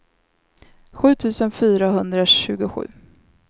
sju tusen fyrahundratjugosju